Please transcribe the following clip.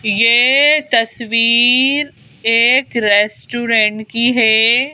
ये तस्वीर एक रेस्टोरेंट की है।